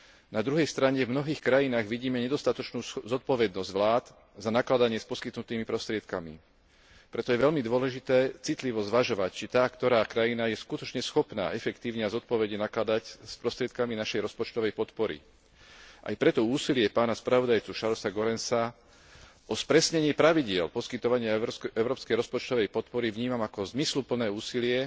Na druhej strane, v mnohých krajinách vidíme nedostatočnú zodpovednosť vlád za nakladanie s poskytnutými prostriedkami, preto je veľmi dôležité citlivo zvažovať, či tá ktorá krajina je skutočne schopná efektívne a zodpovedne nakladať s prostriedkami našej rozpočtovej podpory. Aj preto úsilie pána spravodajcu Charlesa Goerensa o spresnení pravidiel poskytovania európskej rozpočtovej podpory vnímam ako zmysluplné úsilie